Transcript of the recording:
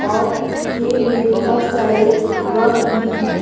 और खेत मे बहुत सारे वक भी हैं।